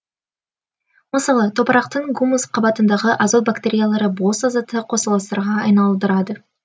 мысалы топырақтың гумус қабатындағы азот бактериялары бос азотты қосылыстарға айналдырады